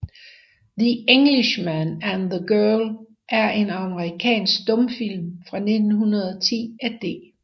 The Englishman and the Girl er en amerikansk stumfilm fra 1910 af D